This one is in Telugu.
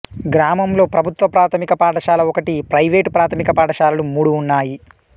గ్రామంలో ప్రభుత్వ ప్రాథమిక పాఠశాల ఒకటి ప్రైవేటు ప్రాథమిక పాఠశాలలు మూడు ఉన్నాయి